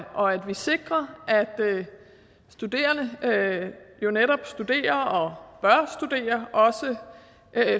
vi sikrer at studerende jo netop studerer og bør studere også